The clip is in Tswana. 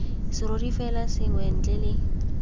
serori sengwe fela ntle le